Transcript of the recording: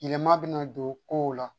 Yɛlɛma bɛna don kow la